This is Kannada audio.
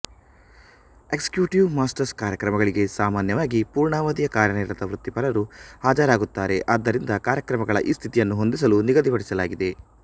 ಎಕ್ಸಿಕ್ಯೂಟಿವ್ ಮಾಸ್ಟರ್ಸ್ ಕಾರ್ಯಕ್ರಮಗಳಿಗೆ ಸಾಮಾನ್ಯವಾಗಿ ಪೂರ್ಣಾವಧಿಯ ಕಾರ್ಯನಿರತ ವೃತ್ತಿಪರರು ಹಾಜರಾಗುತ್ತಾರೆ ಆದ್ದರಿಂದ ಕಾರ್ಯಕ್ರಮಗಳ ಈ ಸ್ಥಿತಿಯನ್ನು ಹೊಂದಿಸಲು ನಿಗದಿಪಡಿಸಲಾಗಿದೆ